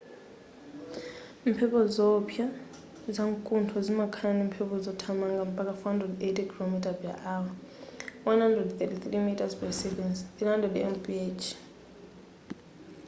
mphepo zowopsa zamkunthozi zimakhala ndimphepo zothamanga mpaka 480 km / h 133 m / s; 300 mph